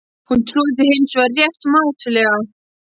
Hún trúði því hins vegar rétt mátulega.